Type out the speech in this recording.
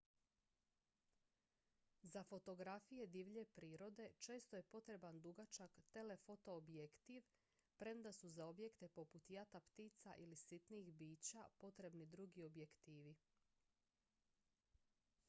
za fotografije divlje prirode često je potreban dugačak telefoto objektiv premda su za objekte poput jata ptica ili sitnih bića potrebni drugi objektivi